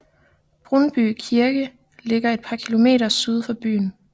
Brunnby Kirke ligger et par km syd for byen